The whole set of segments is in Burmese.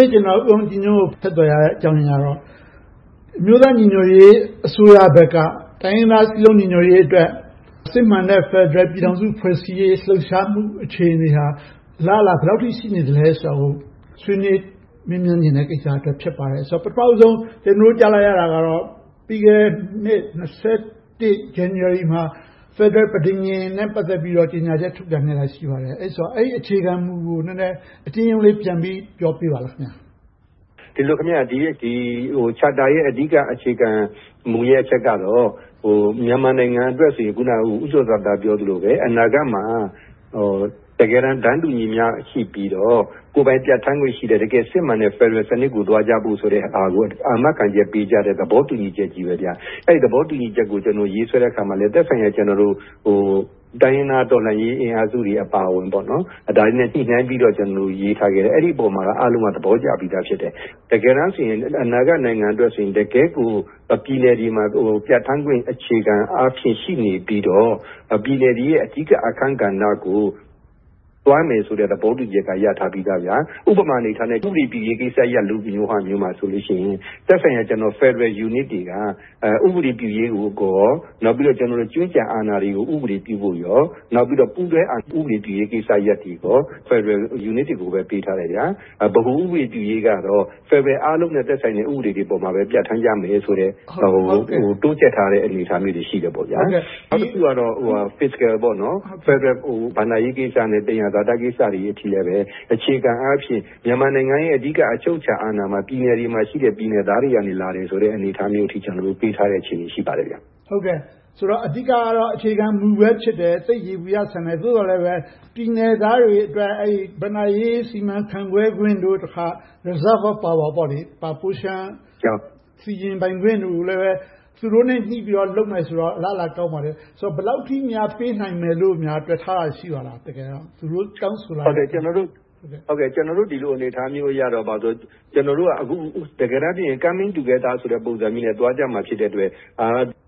ေ့ ကျနော် ဦးအောင်ကြည်ညွန့်ကို ဆက်သွယ်ရတဲ့အကြောင်းကတော့ အမျိုးသားညီညွှတ်ရေး အစိုးရဘက်က တိုင်းရင်းသားစည်းလုံးညီညွှတ်ရေးအတွက် စစ်မှန်တဲ့ ဖယ်ဒရယ်ပြည်ထောင်စု ဖွဲ့စည်းရေး လှုပ်ရှားမှု အခြေအနေဟာ အလားအလာ ဘယ်လောက်အထိ ရှိနေသလဲဆိုတာကို ဆွေးနွေးမေးမြန်းချင်တာ ဖြစ်ပါတယ်။ ပထမဦးဆုံး ကျနော်တို့ ကြားလိုက်ရတာကတော့ ပြီးခဲ့တဲ့နှစ် ၂၀၂၁ ဇန်နဝါရီမှာ ဖယ်ဒရယ် ပဋိဉာဉ်နဲ့ ပတ်သက်ပြီးတော့ ကြေညာချက် ထုတ်ပြန်ခဲ့တာ ရှိပါတယ်။ အဲဒီအခြေခံမူကို နည်းနည်း အကျဉ်းရုံးလေး ပြန်ပြီးတော့ ပြောပြပါလား။ ဒီ Charter ရဲ့ အဓိကအခြေခံမူရဲ့အချက်ကတော့ မြန်မာနိုင်ငံအတွက်ဆိုရင် ဦးကျော်ဇံသာ ပြော သလိုပဲ အနာဂတ်မှာ တကယ်တမ်း တန်းတူညီမျှရှိပြီးတော့ ကိုယ်ပိုင်ပြဌာန်းခွင့်ရှိတဲ့ တကယ်စစ်မှန်တဲ့ ဖယ်ဒရယ်စနစ်ကို သွားကြဖို့ဆိုတဲ့ဟာကို အာမခံချက်ပေးကြတဲ့ သဘောတူညီချက်ကြီးပါ။ အဲဒီ သဘောတူညီချက်ကို ကျနော် ရေးဆွဲတဲ့အခါမှာ သက်ဆိုင်ရာ တိုင်းရင်းသားတော်လှန်ရေးအင်အားစုတွေ အပါအဝင် ဒါတွေနဲ့ ညှိနှိုင်းပြီးတော့ ရေးထားခဲ့တယ်။ အဲဒီအပေါ်မှာ အားလုံးက သဘောကျပြီးသား ဖြစ်တယ်။ တကယ်တမ်းဆိုရင် အနာဂတ်နိုင်ငံတော်အတွက်ဆိုရင် တကယ့်ကို ပြည်နယ်တွေမှာ ပြဌာန်းခွင့် အခြေခံ အားဖြင့် ရှိနေပြီးတော့ ပြည်နယ်တွေရဲ့ အဓိကအခန်းကဏ္ဍကို သွားမယ်ဆိုတဲ့သဘောတူညီချက်က ရထားပြီး သား။ ဥပမာအနေနဲ့ ဥပဒေတည်ရေးကိစ္စရပ်လိုဟာမျိုးမှာဆိုရင် သက်ဆိုင်ရာ ဖယ်ဒရယ်ယူနစ်တွေက ဥပဒေပြု ရေးကိုရော နောက်ပြီးတော့ ကြွင်းကျန်အာဏာတွေကို ဥပေဒပြုဖို့ကော၊ နောက်ပြီးတော့ ပူးတွဲအာဏာပြုရေး ကိစ္စရပ်တွေကော၊ ဖယ်ဒရယ်ယူနစ်တွေကိုပဲ ပေးထားတယ်။ ဗဟိုဥပဒေပြုရေးကတော့ ဖယ်ဒရယ်အားလုံးနဲ့ သက်ဆိုင်တဲ့ ဥပဒေတွေပေါ်မှာပဲ ပြဌာန်းကြမယ်ဆိုတဲ့ တိုးချဲ့ထားတဲ့ အနေအထားတွေ ရှိပါတယ်။ နောက်တခုကတော့ fiscal ဖယ်ဒရယ်ဘဏ္ဍာရေးကိစ္စနဲ့ သယံဇာတကိစ္စတွေအထိလည်း အခြေခံအားဖြင့် မြန်မာနိုင်ငံရဲ့ အဓိက အချုပ်အခြာအာဏာမှာ ပြည်နယ်တွေမှာရှိတဲ့ ပြည်နယ်သားတွေကလာတယ်ဆိုတဲ့ အနေအထားမျိုးအထိ ပေးထားတဲ့ အနေအထားရှိပါတယ်။ ဆိုတော့ အဓိကအားဖြင့်တော့ အခြေခံမူပဲ ဖြစ်တယ်။ သိပ်ယေဘုယျဆန်တယ်။ သို့သော်လည်းပဲ ပြည်နယ်သားတွေအတွက် ဘဏ္ဍာရေးစီမံခန့်ခွဲခွင့်တို့ တခါ reserve of power ပိုလျှံစီရင်ပိုင်ခွင့်တို့ကိုလည်းပဲ သူတို့နဲ့ ညှိပြီးတော့ လုပ်မယ်ဆိုတော့ အလားအလာ ကောင်းပါတယ်။ ဘယ်လောက်အထိများ ပေးနိုင်မယ်လို့ များ တွက်ထားတာ ရှိပါသလား။ သူတို့တောင်းဆိုထားတဲ့အပေါ်။ ကျနော်တို့ ဒီလိုအနေအထားမျိုးတော့ တကယ်တမ်းတော့ coming together ပုံစံမျိုးနဲ့ သွားကြမှာ ဖြစ်တဲ့အတွက်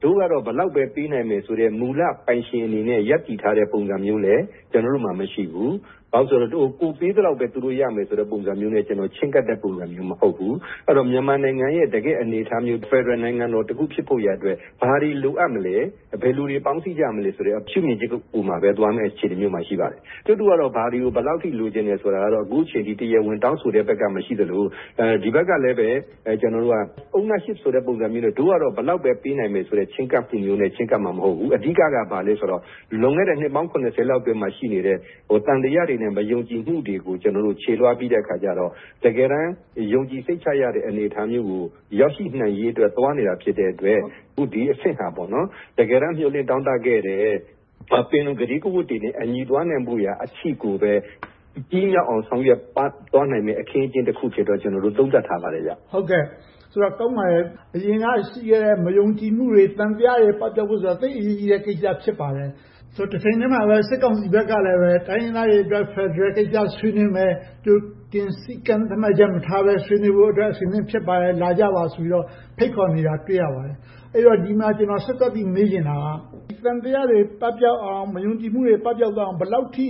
တို့ကတော့ ဘယ်လောက်ပဲ ပေးနိုင်မယ်ဆိုတဲ့ မူလပိုင်ရှင်အနေနဲ့ ရပ်တည်ထားတဲ့ ပုံစံမျိုးလည်း ကျနော်တို့မှာ မရှိဘူး။ ဘာဖြစ်လို့လဲဆိုတော့ ကိုယ်ပေးသလောက်ပဲ သူတို့ရမယ်ဆိုတဲ့ ပုံစံမျိုးနဲ့ ကျနော်တို့ ချဉ်းကပ်တဲ့ ပုံစံမျိုး မဟုတ်ဘူး။ မြန်မာနိုင်ငံရဲ့ တကယ့်အနေအထားမျိုး ဖယ်ဒရယ်နိုင်ငံတော် ဖြစ်ဖို့ရာအတွက် ဘာတွေလိုအပ်မလဲ။ ဘယ်လိုတွေ ပေါင်းစည်းကြမလဲဆိုတဲ့ ရှုမြင်ချက်ပေါ်မှာပဲ သွားမယ့်အနေအထား ရှိပါတယ်။ ကျုပ်တို့ကတော့ ဘာတွေကို ဘယ်လောက်အထိတော့ လိုချင်တယ်ဆိုတာကတော့ အခုအချိန်အထိ တရားဝင်တောင်းဆိုတဲ့ဘက်က မရှိသလို ဒီဘက်ကလည်း ကျနော်တို့က ownership ဆိုတဲ့ ပုံစံမျိုးနဲ့ တို့ကတော့ ဘယ်လောက်ပဲ ပေးနိုင်မယ်ဆိုတဲ့ ချဉ်းကပ်မှုမျိုးနဲ့ ချဉ်းကပ်မှာ မဟုတ်ဘူး။ အဓိကက ဘာလဲဆိုတော့ လွန်ခဲ့တဲ့ နှစ်ပေါင်း လောက်မှာ ရှိနေတဲ့ သံသယတွေနဲ့ပဲ ယုံကြည်မှုတွေကို ကျနော်တို့ ချေသွားပြီးတဲ့အခါကျတော့ တကယ်တမ်း ယုံကြည်စိတ်ချရတဲ့ အနေအထားမျိုးကို ရောက်ရှိနိုင်ရေးအတွက် သွားနေတာဖြစ်တဲ့အတွက် ဒီအဆင့်ဟာ တကယ်တမ်း မျှော်လင့်တောင့်တခဲ့တဲ့ ပင်လုံ ကတိကဝတ်တွေနဲ့ သွားနိုင်ဖို့အထိကိုပဲ ပြီးမြောက်အောင် ဆောင်ရွက်သွားနိုင်မယ့် အခင်းအကျင်းတခု ဖြစ်တယ်လို့ပဲ ကျနော်တို့ သုံးသပ်ထားပါတယ်။ ကောင်းပါတယ်။ အရင်က ရှိခဲ့တဲ့ မယုံကြည်မှုတွေ၊ သံသယတွေ ပပျောက်ဖို့ဆိုတာ သိပ်အရေးကြီးတဲ့ ကိစ္စ ဖြစ်ပါတယ်။ တချိန်တည်းမှာပဲ စစ်ကောင်စီဘက်ကလည်း တိုင်းရင်းသားတွေအတွက် ဖယ်ဒရယ်ကိစ္စကို ဆွေးနွေးမယ်။ ကြိုတင်စည်းကမ်းချက် မထားဘဲ ဆွေးနွေးဖို့အတွက် ဖြစ်ပါတယ်။ လာကြပါဆိုပြီးတော့ ဖိတ်ခေါ်နေတာကို တွေ့ရပါတယ်။ အဲဒီတော့ ဒီမှာဆက်စပ်ပြီးတော့ မေးချင်တာက ဒီသံသယတွေ ပပျောက်အောင်၊ မယုံကြည်မှုတွေ ပပျောက်သွားအောင် ဘယ်လောက်အထိ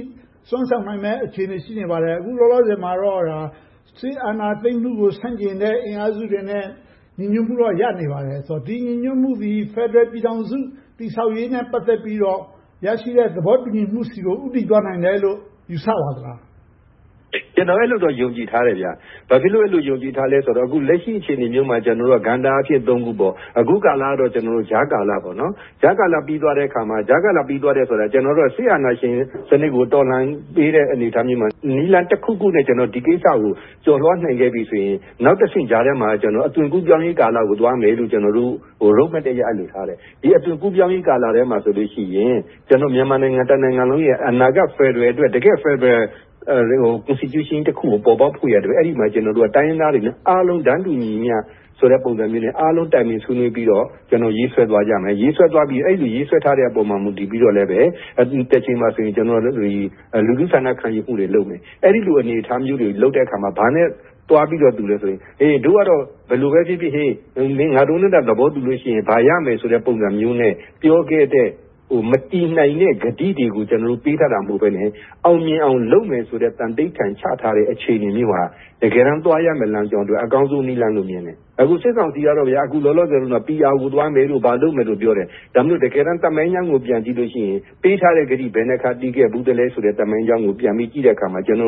စွမ်းဆောင်နိုင်မယ့် အခြေအနေ ရှိနေပါသလဲ။ အခုလောလောဆယ်မှာတော့ စစ်အာဏာသိမ်းမှုကို ဆန့်ကျင်တဲ့ အင်အားစုတွေနဲ့တော့ ညီညွတ်မှုတွေတော့ ရထားနေပါတယ်။ ဒီညီညွှတ်မှုသည် ဖယ်ဒရယ်ပြည်ထောင်စု တည်ဆောက်ရေးနဲ့ ပတ်သက်ပြီးတော့ ရရှိတဲ့ သဘောတူညီမှုဆီကို ဦးတည်သွားနိုင်တယ်လို့ ယူဆပါသလား။ ကျနော်ကတော့ အဲဒီလို ယုံကြည်ထားတယ်။ ဘာဖြစ်လို့ အဲဒီလို ယုံကြည်ထားသလဲဆိုတော့ အခု လက်ရှိ အခြေအနေမျိုးမှာ ကဏ္ဍအားဖြင့် ခုပေါ့။ အခုကာလကတော့ ကြားကာလ။ ကြားကာလပြီးသွား တဲ့အခါမှာ ကြားကာလဆိုတာ ကျနော်တို့က စစ်အာဏာရှင်စနစ်ကို တော်လှန်နေတဲ့ အနေအထားမျိုးမှာ နည်းလမ်းတခုခုနဲ့ ဒီကိစ္စကို ကျော်လွှာနိုင်ခဲ့ပြီဆိုရင် နောက်တဆင့်ကြားထဲမှာ အသွင်ကူးပြောင်းရေးကာလကို သွားမယ်လို့ road map အရ ထားပါတယ်။ ဒီအသွင်ကူးပြောင်းရေးကာလထဲမှာဆိုရင် မြန်မာနိုင်ငံတနိုင်ငံလုံးရဲ့ အနာဂတ်ဖယ်ဒရယ် - တကယ့်ဖယ်ဒရယ် constitution တခုကို ပေါ်ပေါက်ဖို့အတွက် အဲဒီမှာ တိုင်းရင်းသား အားလုံးနဲ့ တန်းတူညီမျှ ပုံစံမျိုးနဲ့ အားလုံးတိုင်ပင်ဆွေးနွေးပြီးတော့ ရေးဆွဲသွားကြမယ်။ အဲဒီရေးဆွဲထားတဲ့ အပေါ် မူတည်ပြီးတော့လည်းပဲ တချိန်မှာ လူထုဆန္ဒခံယူမှုတွေ လုပ်မယ်။ အဲဒီလို အနေအထားမျိုးတွေ လုပ်တဲ့အခါမှာ ဘာနဲ့သွားပြီးတော့ တူသလဲဆိုရင် ‘ဒို့ကတော့ ဘယ်လိုပဲဖြစ်ဖြစ် ငါတို့နဲ့သာ သဘောတူလို့ရှိရင် ဘာရမယ်ဆိုတဲ့’ ပုံစံမျိုးနဲ့ ပြောခဲ့တဲ့၊ မတည်နိုင်တဲ့ ကတိတွေကို ကျနော်တို့တွေ ပေးခဲ့တာ မဟုတ်ဘဲနဲ့ အောင်မြင်အောင်လုပ်မယ်ဆိုတဲ့ သန္နိဌာန် ချထားတဲ့ အခြေအနေမျိုးမှာ တကယ်တမ်းသွားရမယ့်လမ်းကို အကောင်းဆုံးနည်းလမ်းလို့ မြင်တယ်။ အခု စစ်ကောင်စီကတော့ အခုလောလောဆယ်မှာ PR ကို သွားမယ်တို့ ဘာတို့ပြောနေတယ်။ ဒါပေမယ့် တကယ်တမ်း သမိုင်းလမ်းကို ပြန်ကြည့်လို့ရှိရင် ပေးထားတဲ့ကတိ ဘယ်နှစ်ခါ တည်ခဲ့သလဲဆိုတာကို ပြန်ကြည့်တဲ့အခါမှာ တိုင်းရ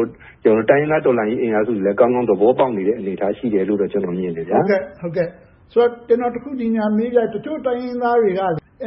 င်းသားတော်လှန်ရေး အင်အားစုတွေလည်း ကောင်းကောင်း သဘောပေါက်နေတဲ့ အနေအထားရှိတယ်လို့ ကျနော် ထင်တယ်။ ဆိုတော့ ဒီနေရာမှာ ကျနော် တခုမေးချင်တာက တချို့တိုင်းရင်းသားတွေက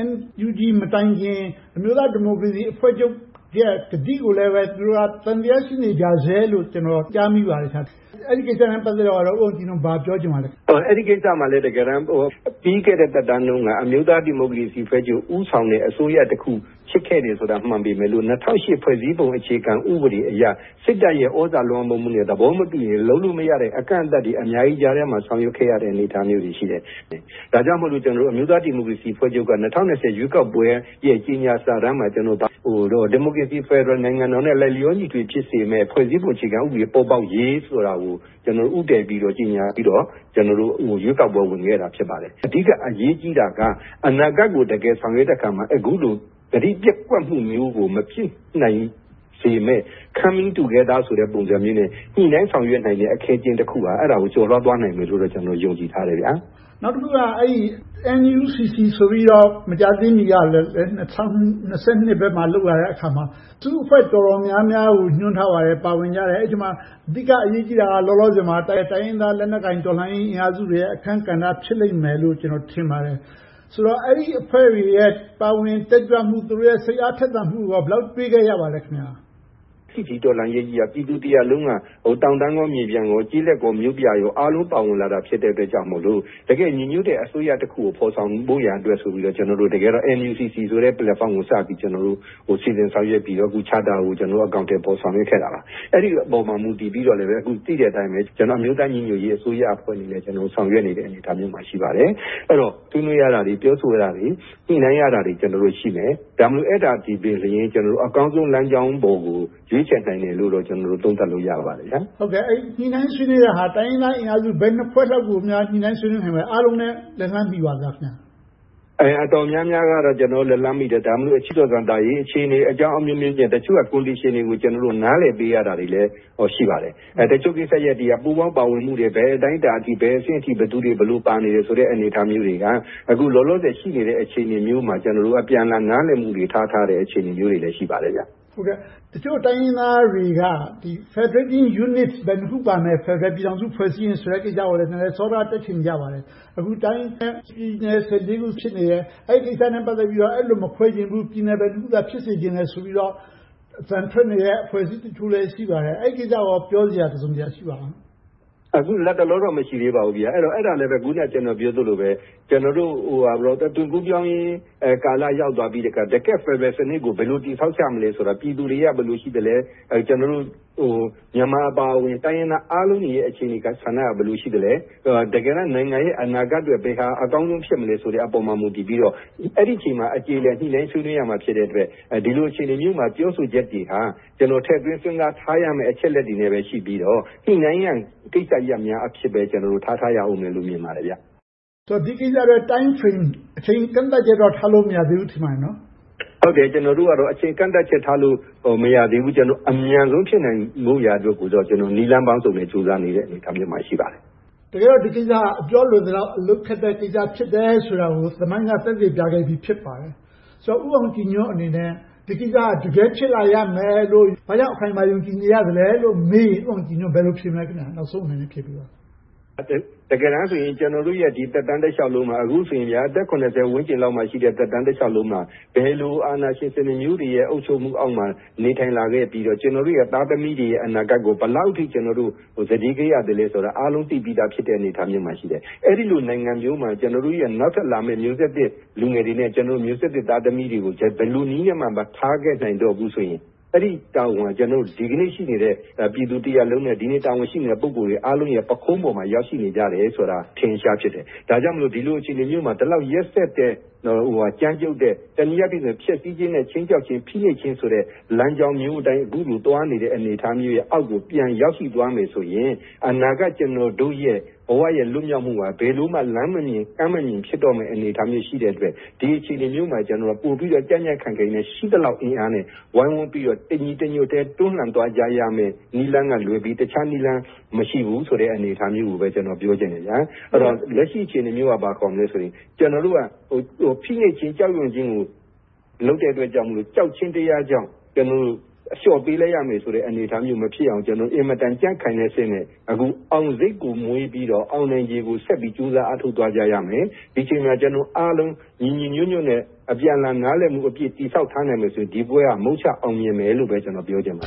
NUG မတိုင်ခင် အမျိုးသား ဒီမိုကရေစီအဖွဲ့ချုပ်ရဲ့ ကတိကိုလည်း သူတို့ သံသယ ရှိနေကြဆဲလို့ ကျနော် ကြားမိပါတယ်။ အဲဒီကိစ္စနဲ့ ပတ်သက်လို့ ဦးအောင်ကြည်ညွှန့် ဘာပြောချင်ပါလဲ။ အဲဒီကိစ္စမှာလည်း တကယ်တမ်း ပြီးခဲ့တဲ့သက်တမ်းတုန်းက အမျိုးသားဒီမိုကရေစီအဖွဲ့ချုပ် ဦးဆောင်တဲ့ အစိုးရတခု ဖြစ်ခဲ့တယ်ဆိုတာ မှန်ပေမယ့် ၂၀၀၈ ဖွဲ့စည်းပုံအခြေခံဥပဒေအရ စစ်တပ်ရဲ့ သြဇာလွှမ်းမိုးမှုနဲ့ သဘောမတူရင်လုပ်လို့မရတဲ့ အကန့်အသတ်တွေ အများကြီးကြားထဲမှာ ဆောင်ရွက်ခဲ့ရတဲ့ အနေအထား မျိုးတွေ ရှိတယ်။ ဒါကြောင့်မို့လို့ ကျနော်တို့ အမျိုးသားဒီမိုကရေစီအဖွဲ့ချုပ်က ၂၀၂၀ ရွေးကောက်ပွဲရဲ့ ကြေညာ စာတမ်းမှာ ဘာပါသလဲဆိုရင် ဒီမိုကရေစီဖယ်ဒရယ် နိုင်ငံတော်နဲ့ လိုက်လျောညီထွေ ဖြစ်စေမယ့် ဖွဲ့စည်းပုံ အခြေခံဥပဒေ ပေါ်ပေါက်ရေးဆိုတာကို ဦးတည်ပြီးတော့ ကြေညာပြီးတော့ ကျနော်တို့ ရွေးကောက်ပွဲဝင်ခဲ့တာ ဖြစ်ပါတယ်။ အဓိက အရေးကြီးတာက အနာဂတ်ကို တကယ်ဆောင်ရွက်တဲ့အခါမှာ အခုလို ကတိပျက်ကွက်မှု မျိုးကို မဖြစ်နိုင်စေမယ့် coming together ဆိုတဲ့ ပုံစံမျိုးနဲ့ ညှိနှိုင်းဆောင်ရွက်နိုင်တဲ့ အခင်းအကျင်းတခုကို ကျော်လွှားသွားနိုင်မယ်လို့ ယုံကြည်ထားတယ်။ နောက်တခုက NUCC ဆိုပြီးတော့ မကြာသေးမီက ၂၀၂၂ မှာ လုပ်သွားခဲ့တဲ့ အစည်းအဝေးမှာ အစုအဖွဲ့ တော်တော်များများကို ညွှန်ထားပါတယ်။ ပါဝင်ကြတယ်။ အဲဒီအထဲမှာ အဓိက အရေးကြီးတာက လောလော ဆယ်မှာ တိုင်းရင်းသားလက်နက်ကိုင် တော်လှန်ရေးအင်အားစုတွေရဲ့ အခန်းကဏ္ဍ ဖြစ်လိမ့်မယ်လို့ ကျနော် ထင်ပါတယ်။ ဆိုတော့ အဲဒီအဖွဲ့တွေရဲ့ ပါဝင်တက်ကြွမှုနဲ့ စိတ်အားထက်သန်မှုကို ဘယ်လောက်အထိ တွေ့ခဲ့ရပါသလဲ။ ဒီတော်လှန်ရေးကြီးက ပြည်သူတရပ်လုံးက တောင်တန်းမြေပြန့် ကျေးလက်မြို့ပြအားလုံး ပါဝင်လာတာ ဖြစ်တဲ့အတွက်ကြောင့် တကယ့်ညီညွှတ်တဲ့ အစိုးရတရပ်ကို ဖော်ဆောင်ဖို့ရန်အတွက်ဆိုပြီးတော့ ကျနော်တို့ NUCC ဆိုတဲ့ Platform ကို စပြီး၊ စီစဉ်ဆောင်ရွက်ပြီးတော့ Charter ကို အကောင်အထည်ဖော် ဆောင်ရွက်ခဲ့ တာပါ။ အဲဒီအပေါ်မှာ မူတည်ပြီးတော့ အခု သိတဲ့အတိုင်းပဲ ကျနော်တို့ အမျိုးသားညီညွှတ်ရေး အစိုးရအဖွဲ့ အနေနဲ့ ဆောင်ရွက်နေတဲ့ အနေအထားမျိုးမှာ ရှိပါတယ်။ အဲဒီတော့ ဆွေးနွေးရတာ၊ ပြောဆိုရတာတွေ၊ ညှိနှိုင်း ရတာတွေ ရှိမယ်။ ဒါပေမဲ့ အဲဒါသည်ပင်လျှင် ကျနော်တို့ အကောင်းဆုံးလမ်းကြောင်းပေါ်ကို ရွေးချယ်နိုင် တယ်လို့ ကျနော်တို့ သုံးသပ်လို့ရပါတယ်။ အဲဒီလို ညှိနှိုင်းဆွေးနွေးတာဟာ တိုင်းရင်းသား ဘယ်နှစ်ဖွဲ့လောက်ကိုများ ညှိနှိုင်းဆောင်ရွက်နိုင်ပါ သလဲ။ အားလုံးနဲ့ လက်လှမ်းမီပါသလား။ အတော်များများကတော့ ကျနော်တို့ လက်လှမ်းမီတယ်။ ဒါပေမဲ့ အခြေအနေ၊ အကြောင်း အမျိုးမျိုး ကြောင့် တချို့ရဲ့ condition တွေကို နားလည်ပေးရတာတွေလည်း ရှိပါတယ်။ တချို့ကိစ္စရပ်တွေက ပူးပေါင်းမှုတွေ ဘယ်အတိုင်းအတာအထိ၊ ဘယ်အဆင့်အထိ ဘယ်လိုပါနေတယ်ဆိုတဲ့ အနေအထားတွေက အခုလောလောဆယ် ရှိနေတဲ့ အခြေအနေမျိုးမှာ ကျနော်တို့ အပြန်အလှန် နားလည်မှုတွေထားထားတဲ့ အခြေအနေမျိုးတွေလည်း ရှိပါတယ်။ တချို့တိုင်းရင်းသားတွေက Federation Unit ဘယ်နှစ်ခု ပါမလဲဆိုတဲ့ ဖယ်ဒရယ် ဖွဲ့စည်းရေး ကိစ္စကိုလည်း စောဒက တက်ချင်ကြပါတယ်။ အခုလက်ရှိ တိုင်းနဲ့ပြည်နယ် ခု ဖြစ်နေတယ်။ အဲဒီကိစ္စနဲ့ ပတ်သက်ပြီးတော့ အဲဒီလိုမခွဲချင်ဘူး။ ပြည်နယ်တခုသာ ဖြစ်စေချင်တယ်ဆိုပြီးတော့ အသံထွက်နေတဲ့ အဖွဲ့ အစည်းတချို့ ရှိနေပါတယ်။ အဲဒီကိစ္စကိုကော ပြောစရာ တစုံတရာ ရှိပါသလား။ အခုလက်တလောတော့ မရှိသေးပါဘူး။ အဲဒါလဲပဲ အခုန ကျနော်ပြောသလိုပါပဲ။ အသွင်ကူးပြောင်း ရေးကာလ ရောက်သွားပြီးတဲ့အခါ တကယ့် ဖယ်ဒရယ်စနစ်ကို ဘယ်လိုတည်ဆောက်ကြမလဲဆိုတာ ပြည်သူ တွေက ဘယ်လိုရှိကြသလဲ။ ကျနော်တို့ မြန်မာအပါအဝင် တိုင်းရင်းသားအားလုံးရဲ့ အခြေအနေဆန္ဒက ဘယ်လို ရှိသလဲ။ တကယ်တမ်း နိုင်ငံရဲ့ အနာဂတ်အတွက် ဘယ်ဟာအကောင်းဆုံး ဖြစ်မလဲဆိုတဲ့အပေါ် မူတည်ပြီးတော့ အဲဒီအခြေအနေမှာ အကြေအလည် ညှိနှိုင်းရမှာ ဖြစ်တဲ့အတွက် ဒီလိုအခြေအနေမျိုးမှာ ပြောဆိုချက်တွေဟာ ကျနော် ထည့်သွင်းစဉ်းစားထားရမယ့် အချက်အလက်တွေအနေနဲ့ပဲ ရှိပြီးတော့ ညှိနှိုင်းရန် ကိစ္စရပ်များအဖြစ်ပဲ ထားထားရအုံးမယ်လို့ မြင်ပါတယ်။ ဒီကိစ္စအတွက် timeframe အချိန်ကန့်သတ်ချက်တော့ ထားလို့မရသေးဘူးလို့ ထင်ပါတယ်။ ဟုတ်တယ်။ ကျနော်တို့ကတော့ အချိန်ကန့်သတ်ချက် ထားလို့မရသေးဘူး။ အမြန်ဆုံး ဖြစ်နိုင်ဖို့ရာ အတွက်ကိုတော့ နည်းလမ်းပေါင်းစုံနဲ့ ဆောင်ရွက်နေတဲ့ အနေအထားမျိုးမှာ ရှိပါတယ်။ တကယ်တော့ ဒီကိစ္စဟာ အပြောလွယ်သလောက် အလုပ်ခက်တဲ့ကိစ္စ ဖြစ်တယ်ဆိုတာကို သမိုင်းက သက်သေပြခဲ့ပြီ ဖြစ်ပါတယ်။ ဆိုတော့ ဦးအောင်ကြည်ညွှန့်အနေနဲ့ ဒီကိစ္စက တကယ်ဖြစ်လာရမယ်လို့ ဘာကြောင့် အခိုင်အမာ ယုံကြည်နေရသလဲလို့မေးရင် ဘယ်လိုဖြေမလဲ။ နောက်ဆုံးအနေနဲ့ ဖြေပေးပါ။ တကယ်တမ်းဆိုရင် ကျနော်တို့ရဲ့ ဒီသက်တမ်းတလျှောက်လုံးမှာ အခုဆိုရင် အသက် ဝန်း ကျင်လောက်မှာရှိတဲ့ သက်တမ်းတလျှောက်လုံးမှာ ဘယ်လိုအာဏာရှင်စနစ်မျိုးတွေရဲ့ အုပ်ချုပ်မှုအောက်မှာ နေထိုင်လာခဲ့ပြီးတော့ ကျနော်တို့ရဲ့ သားသမီးတွေရဲ့ အနာဂတ်ကို ဘယ်လောက်အထိ ကျနော်တို့ စတေးခဲ့ ရသလဲဆိုတာကို အားလုံးသိပြီးသား အနေအထားမျိုးမှာ ရှိတယ်။ အဲဒီလို နိုင်ငံမျိုးမှာ ကျနော်တို့ နောက် တက်လာမယ့် မျိုးဆက်သစ်လူငယ်တွေနဲ့ ကျနော်တို့ မျိုးဆက်သစ် သားသမီးတွေကို ဘယ်လိုနည်းနဲ့မှ မထားခဲ့ နိုင်တော့ဘူးဆိုရင် အဲဒီတာဝန်က ကျနော်တို့ ဒီနေ့ရှိနေတဲ့ ပြည်သူတရပ်လုံးနဲ့ ဒီကနေ့ တာဝန်ရှိနေတဲ့ ပုဂ္ဂိုလ်တွေရဲ့ ပခုံးပေါ်မှာ ရောက်ရှိနေကြတယ်ဆိုတာ အထင်အရှား ဖြစ်တယ်။ ဒါကြောင့်မို့ ဒီလိုအခြေအနေ မျိုးမှာ ဒီလောက်ရက်စက်တဲ့၊ ကြမ်းကြုတ်တဲ့ တနည်းအားဖြင့် ဖျက်ဆီးခြင်းနဲ့ ခြိမ်းခြောက်ခြင်း၊ ဖိနှိပ်ခြင်းဆိုတဲ့ လမ်းကြောင်းမျိုးအတိုင်း အခုလို သွားနေတဲ့ အနေအထားမျိုးအောက်ကို ပြန်ရောက်ရှိသွားမယ်ဆိုရင် အနာဂတ် ကျနော်တို့ရဲ့ ဘဝရဲ့လွတ်မြောက်မှုက ဘယ်လိုမှ လမ်းမမြင် ကမ်းမမြင် ဖြစ်တော့မယ့် အနေအထားမျိုး ရှိတဲ့အတွက် ဒီအခြေအနေမျိုးမှာ ပိုပြီးတော့ ကြံ့ကြံ့ခိုင်ခိုင်နဲ့ ရှိသလောက် အင်အားနဲ့ ဝိုင်းဝန်းပြီးတော့ တညီတညွှတ်တည်း တွန်းလှန်သွားကြရမယ့် နည်းလမ်းကလွဲပြီး အခြားနည်းလမ်း မရှိဘူးဆိုတဲ့ အနေအထားမျိုးကိုပဲ ကျနော် ပြောချင်တယ်။ အဲဒီတော့ လက်ရှိအခြေအနေမျိုးက ဘာခေါ်မလဲ ဆိုရင် ကျနော်တို့က ဖိနှိပ်ခြင်း၊ ကြောက်ရွံခြင်းကို လုပ်တဲ့အတွက်ကြောင့်မို့ ကြောက်ခြင်းတရားကြောင့် ကျနော်တို့ အလျှော့ပေးလိုက်ရမယ့် အနေအထားမျိုး မဖြစ်အောင်၊ အင်မတန် ကြံ့ခိုင်တဲ့အဆင့်နဲ့ အောင်စိတ်ကို မွေးပြီး အောင်နိုင်ခြေကို ဆက်ပြီးတော့ ကြိုးစားအားထုတ်သွားကြရမယ်။ ဒီအချိန်မှာ ကျနော်တို့အားလုံး ညီညီညွှတ်ညွှတ်နဲ့ အပြန်အလှန် နားလည်မှုအပြည့် တည်ဆောက်ထားနိုင်မယ်ဆိုရင် ဒီပွဲက မုချအောင်မြင်မယ်လို့ပဲ ကျနော် ပြောချင်ပါ